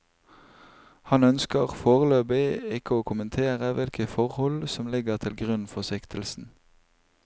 Han ønsker foreløpig ikke å kommentere hvilket forhold som ligger til grunn for siktelsen.